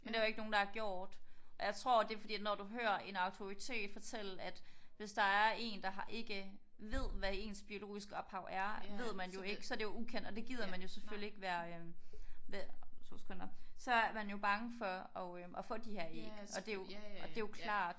Men det er der ikke nogen der har gjort. Og jeg tror det er fordi at når du hører en autoritet fortælle at hvis der er en der ikke ved hvad ens biologiske ophav er ved man jo ikke. Så er det jo ukendt og det gider man selvfølgelig ikke være øh 2 sekunder så er man jo bange for at få de her æg og det er jo klart